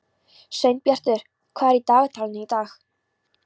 Sveinbjartur, hvað er í dagatalinu í dag?